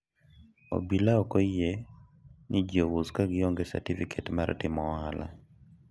obila ok oyie ni ji ous kagionge satifiket mar timo ohala